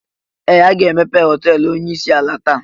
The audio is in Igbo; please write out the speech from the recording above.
Ee! Aga emepe họteelụ onyeisi ala taa.